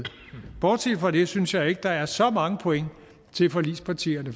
bortset fra det synes jeg ikke at der er så mange point til forligspartierne